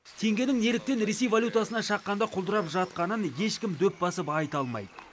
теңгенің неліктен ресей валютасына шаққанда құлдырап жатқанын ешкім дөп басып айта алмайды